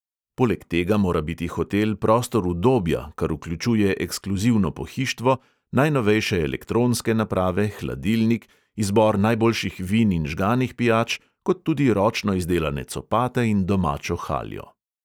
Poleg tega mora biti hotel prostor udobja, kar vključuje ekskluzivno pohištvo, najnovejše elektronske naprave, hladilnik, izbor najboljših vin in žganih pijač, kot tudi ročno izdelane copate in domačo haljo.